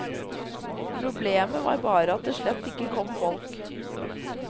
Problemet var bare at det slett ikke kom folk.